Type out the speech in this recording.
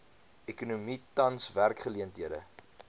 ekonomie tans werksgeleenthede